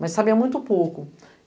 Mas sabia muito pouco.